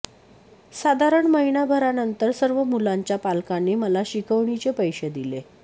साधारण महिनाभरानंतर सर्व मुलांच्या पालकांनी मला शिकवणीचे पैसे दिले